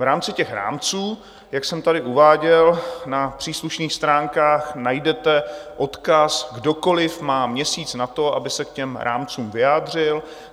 V rámci těch rámců, jak jsem tady uváděl, na příslušných stránkách najdete odkaz - kdokoli má měsíc na to, aby se k těm rámcům vyjádřil.